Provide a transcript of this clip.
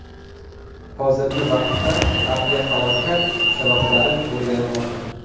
Hozirgi vaqtda aviahalokat sabablari o‘rganilmoqda.